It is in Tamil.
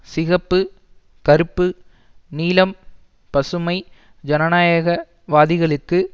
சிகப்பு கறுப்பு நீலம் பசுமை ஜனநாயக வாதிகளுக்கு